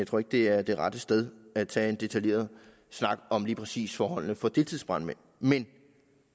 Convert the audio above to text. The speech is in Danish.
tror ikke det er det rette sted at tage en detaljeret snak om lige præcis forholdene for deltidsbrandmænd men